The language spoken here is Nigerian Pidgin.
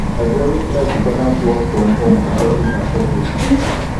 i go always try to balance work from home and office and office